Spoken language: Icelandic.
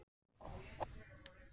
Ég var fársjúkur maður.